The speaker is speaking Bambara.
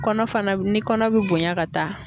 Kɔnɔ fana ,ni kɔnɔ be bonya ka taa